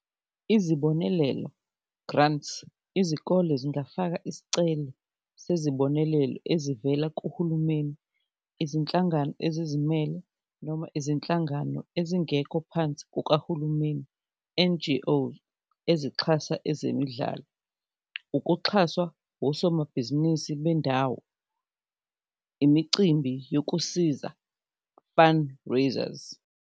Izibonelelo grants, izikole zingafaka isicelo sezibonelelo ezivela kuhulumeni, izinhlangano ezizimele noma izinhlangano ezingekho phansi kukahulumeni, N_G_O ezixhasa ezemidlalo, ukuxhaswa osomabhizinisi bendawo, imicimbi yokusiza fundraisers.